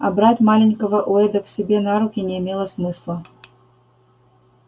а брать маленького уэйда к себе на руки не имело смысла